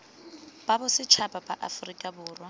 sa bosetšhaba sa aforika borwa